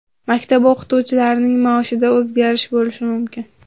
Maktab o‘qituvchilarining maoshida o‘zgarish bo‘lishi mumkin.